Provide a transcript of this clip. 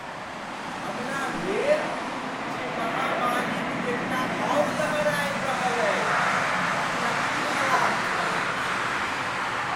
हमरा भेल जे महामारीक एकटा आओर लहरि आबि रहल अछि। ई नकली अलार्म छल की?